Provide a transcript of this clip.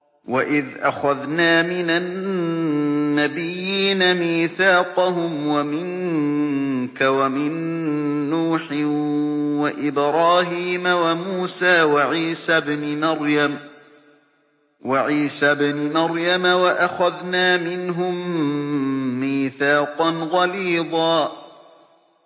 وَإِذْ أَخَذْنَا مِنَ النَّبِيِّينَ مِيثَاقَهُمْ وَمِنكَ وَمِن نُّوحٍ وَإِبْرَاهِيمَ وَمُوسَىٰ وَعِيسَى ابْنِ مَرْيَمَ ۖ وَأَخَذْنَا مِنْهُم مِّيثَاقًا غَلِيظًا